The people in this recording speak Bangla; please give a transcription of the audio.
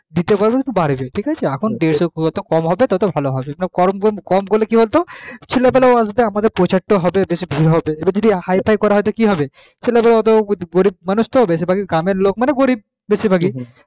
দিতে পারবে তখন বাড়বে তো এখন যত কম হবে কম করলে কি বলতো ছেলে পেলেও আসবে প্রচার তো হবে বেশি ভিড় হবে যদি বেশি হাইফাই করা হয় তো কি হবে ছেলে পেলে এত গরিব মানুষ তো মানে গ্রামের লোক মানে গরিব বেশির ভাগই